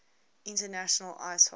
international ice hockey